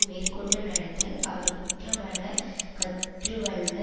மேற்கொண்டு நடத்தல் அவர் குற்றமற கற்றுவல்ல